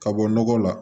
Ka bɔ nɔgɔ la